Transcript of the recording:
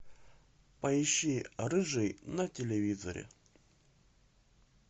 поищи рыжий на телевизоре